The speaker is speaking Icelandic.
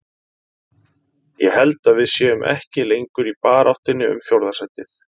Ég held að við séum ekki lengur í baráttunni um fjórða sætið.